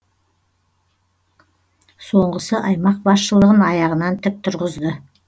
соңғысы аймақ басшылығын аяғынан тік тұрғызды